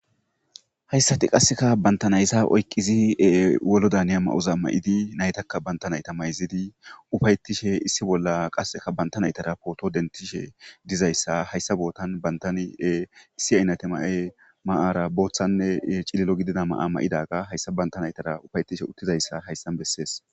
Hayssati qasseka bantanayza oyqizi wolo daniya ma7oza ma7idi naytakka banta nayta mayzidi ufayetishe issi bolla qasseka banta naytara pooto dentishe dizayssa hayssa bootan bantani issi aynate ma7e ma7ara booththanne cililo gidida ma7a ma7idaga hayssa banta naytara ufayetishe uttizayssa hayssan bessees.